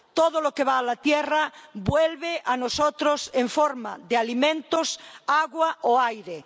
Todo lo que va a la tierra vuelve a nosotros en forma de alimentos, agua o aire.